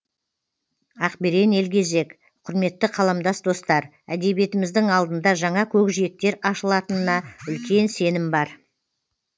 ақберен елгезек құрметті қаламдас достар әдебиетіміздің алдында жаңа көкжиектер ашылатынына үлкен сенім бар